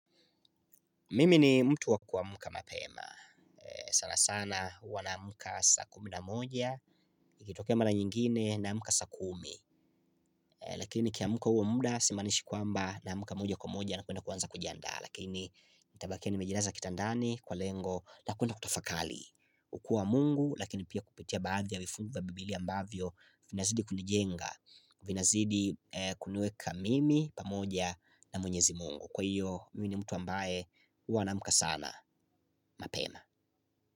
Mimi ni mtu wakuamka mapema. Sana sana huwa na mka saa kumi na moja, ikitokea mara nyingine na amka saa kumi. Lakini nikiamka huo muda simaanishi kwamba na amka moja kwa moja na kwenda kuanza kujandaa. Lakini nitabakia nimejilaza kitandani kwa lengo la kuenda kutafakari. Kwa Mungu lakini pia kupitia baadhi ya vifungu vya Bibilia ambavyo vinazidi kunijenga. Vinazidi kuniweka mimi pamoja na mwenyezi mungu. Kwa hiyo mimi ni mtu ambae huwa naamka sana mapema.